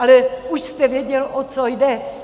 Ale už jste věděl, o co jde.